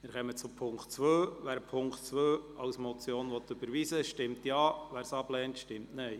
Wer die Ziffer 2 der Motion annimmt, stimmt Ja, wer diese ablehnt, stimmt Nein.